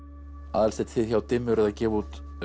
Aðalsteinn þið hjá dimmu eruð að gefa út